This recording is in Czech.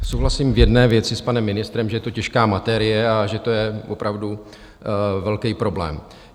Souhlasím v jedné věci s panem ministrem, že je to těžká materie a že to je opravdu velký problém.